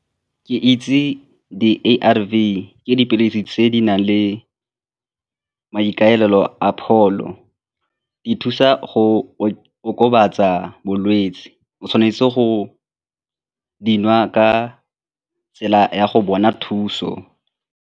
Ke itse di-A_R_V, ke dipilisi tse di nang le maikaelelo a pholo, di thusa go o okobatsa bolwetse, o tshwanetse go di nwa ka tsela ya go bona thuso.